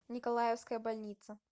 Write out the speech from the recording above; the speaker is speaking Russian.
николаевская больница